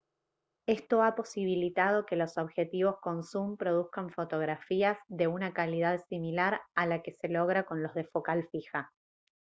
esto ha posibilitado que los objetivos con zum produzcan fotografías de una calidad similar a la que se logra con los de focal fija